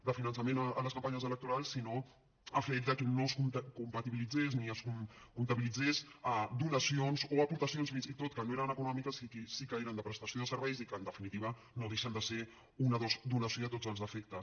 de finançament a les campanyes electorals sinó amb el fet de que no es compatibilitzessin ni es comptabilitzessin donacions o aportacions fins i tot que no eren econòmiques i que sí que eren de prestació de serveis i que en definitiva no deixen de ser una donació a tots els efectes